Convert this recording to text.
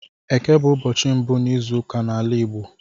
Éké bụ ụbọchị mbụ n'izuụka n'ala Igbo